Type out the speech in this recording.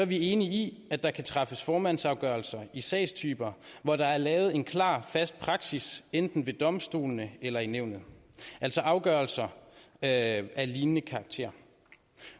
vi enige i at der kan træffes formandsafgørelser i sagstyper hvor der er lavet en klar fast praksis enten ved domstolene eller i nævnet altså afgørelser af lignende karakter